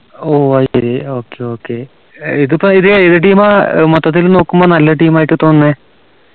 ഓ അത് ശരി okay okay ഏർ ഇതിപ്പോ ഇത് ഏത് team ആ ഏർ മൊത്തത്തിൽ നോക്കുമ്പോ നല്ല team ആയിട്ട് തോന്നുന്നേ